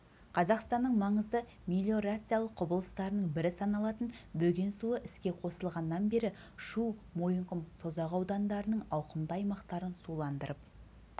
қазақстанның маңызды мелиорациялық құрылыстарының бірі саналатын бөген суы іске қосылғаннан бері шу мойынқұм созақ аудандарының ауқымды аймақтарын суландырып